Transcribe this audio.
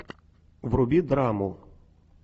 вруби драму